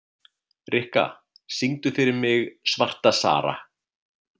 Rikka, syngdu fyrir mig „Svarta Sara“.